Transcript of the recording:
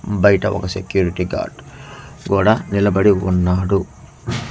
బయట ఒక security guard గూడా నిలబడి ఉన్నాడు.